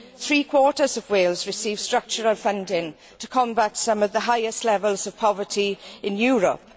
Three quarters of Wales receives structural funding to combat some of the highest levels of poverty in Europe.